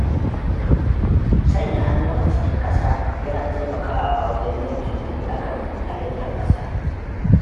Sanya hannu a cikin ƙasa yana taimakawa wajen yin tunani a kan halittar ƙasa.